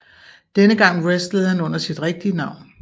Denne gang wrestlede han under sit rigtige navn